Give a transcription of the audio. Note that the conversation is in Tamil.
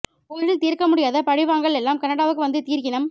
ஊரில் தீர்க்க முடியாத பழி வாங்கல் எல்லாம் கனடாவுக்கு வந்து தீர்க்கினம்